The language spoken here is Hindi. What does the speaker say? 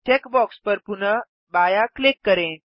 चेक बॉक्स पर पुनः बायाँ क्लिक करें